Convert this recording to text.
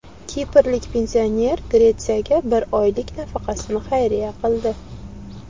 Kiprlik pensioner Gretsiyaga bir oylik nafaqasini xayriya qildi.